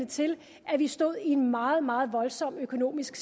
til at vi stod i en meget meget voldsom økonomisk